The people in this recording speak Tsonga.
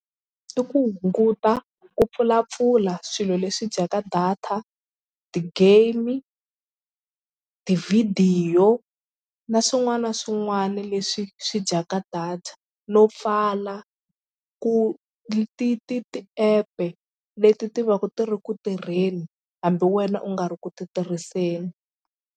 I ku hunguta ku pfulapfula swilo leswi dyaka data, ti-game, tivhidiyo na swin'wana na swin'wana leswi swi dyaka data no pfala ku ti ti ti-app-e leti ti va ti ri ku tirheni hambi wena u nga ri ku titirhiseni.